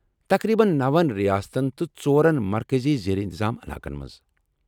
تقریبا نَوَن ریاستن تہٕ ژورن مرکزی زیر انتظام علاقن منز